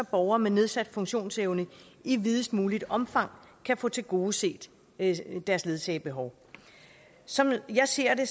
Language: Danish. borgere med nedsat funktionsevne i videst muligt omfang kan få tilgodeset deres ledsagebehov som jeg ser det